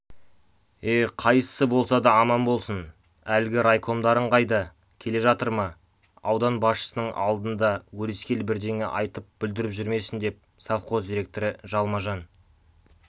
е қайсысы болса да аман болсын әлгі райкомдарың қайда келе жатыр ма аудан басшысының алдында өрескел бірдеңе айтып бүлдіріп жүрмесін деп совхоз директоры жалма-жан